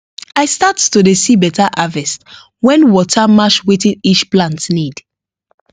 i start to dey see better harvest when water match wetin each plant need